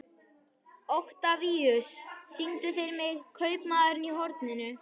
Oktavíus, syngdu fyrir mig „Kaupmaðurinn á horninu“.